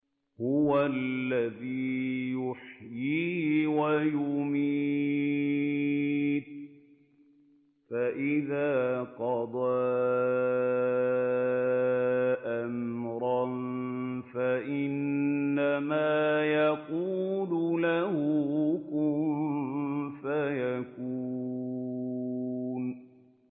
هُوَ الَّذِي يُحْيِي وَيُمِيتُ ۖ فَإِذَا قَضَىٰ أَمْرًا فَإِنَّمَا يَقُولُ لَهُ كُن فَيَكُونُ